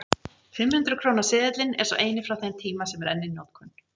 Fimm hundruð krónu seðillinn er sá eini frá þeim tíma sem enn er í notkun.